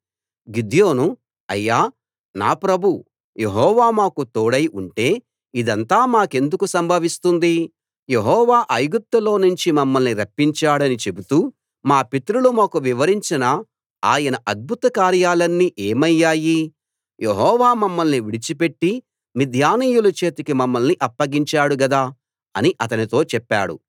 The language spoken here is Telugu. గిద్యోను అయ్యా నా ప్రభూ యెహోవా మాకు తోడై ఉంటే ఇదంతా మాకెందుకు సంభవిస్తుంది యెహోవా ఐగుప్తులో నుంచి మమ్మలి రప్పించాడని చెబుతూ మా పితరులు మాకు వివరించిన ఆయన అద్భుత కార్యాలన్నీ ఏమయ్యాయి యెహోవా మమ్మల్ని విడిచిపెట్టి మిద్యానీయుల చేతికి మమ్మల్ని అప్పగించాడు గదా అని అతనితో చెప్పాడు